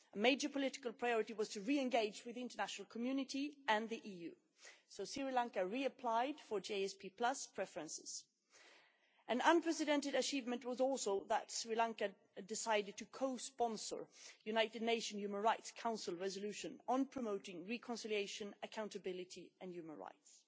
A major political priority was to re engage with the international community and the EU, so Sri Lanka reapplied for GSP preferences. An unprecedented achievement was also that Sri Lanka decided to co-sponsor the United Nations Human Rights Council resolution on promoting reconciliation, accountability and human rights.